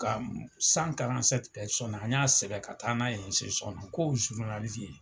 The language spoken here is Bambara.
Ka an y'a sɛbɛn ka taa n'a ye k'o ye .